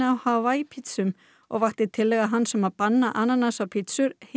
og vakti tillaga hans um að banna ananas á pítsur heimsathygli